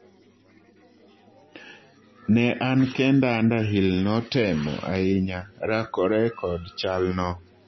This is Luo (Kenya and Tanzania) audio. Ne an kenda Underhill notemo ahinya rakore kod chal no.